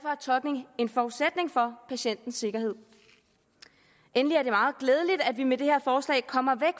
tolkning en forudsætning for patientens sikkerhed endelig er det meget glædeligt at vi med det her forslag kommer